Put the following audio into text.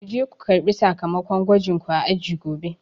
Kuje ko karɓi sakamakon gwajin ku a aji gobe